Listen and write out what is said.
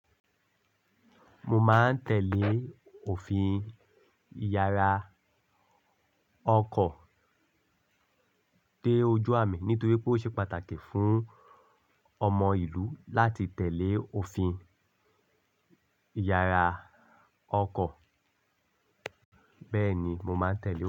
Mo máa ń tẹ̀lé òfin ìyara ọkọ̀ dé ojú mi nítorí pé ó ṣe pàtàkì fún ọmọ ìlú láti tẹ̀lé òfin ìyara ọkọ̀. Bẹ́ẹ̀ ni mo máa ń tẹ̀lé.